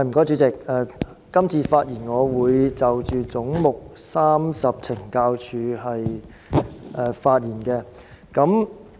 主席，今次我會就"總目 30— 懲教署"發言。